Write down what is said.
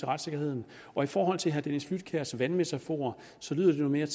retssikkerheden og i forhold til herre dennis flydtkjærs vandmetafor lyder det jo mere